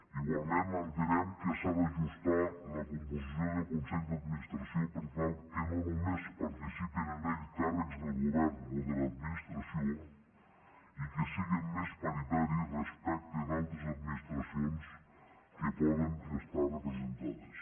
igualment entenem que s’ha d’ajustar la composició del consell d’administració per tal que no només hi participin càrrecs del govern o de l’administració i que siguin més paritaris respecte d’altres administracions que poden estar hi representades